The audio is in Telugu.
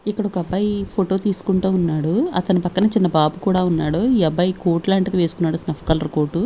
ఇక్కడ ఒక అబ్బాయి ఫోటో తీసుకుంటూ ఉన్నాడు అతని పక్కన చిన్న బాబు కూడా ఉన్నాడు ఈ అబ్బాయి కోట్ లాంటిది వేసుకున్నాడు స్నఫ్ కలర్ కోటు .